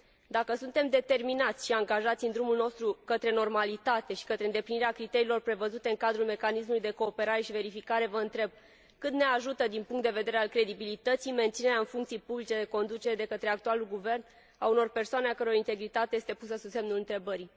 Dacă suntem determinați și angajați în drumul nostru către normalitate și către îndeplinirea criteriilor prevăzute în cadrul Mecanismului de cooperare și verificare, vă întreb cât ne ajută, din punctul de vedere al credibilității, menținerea în funcții publice de conducere de către actualul Guvern a unor persoane a căror integritate este pusă sub semnul întrebării?